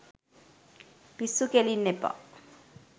පිස්සු කෙලින්න එපා.